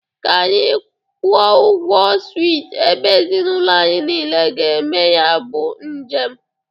Ka anyị kwọ ụgwọ swịt ebe ezinaụlọ anyị niile ga-eme ya bụ njem.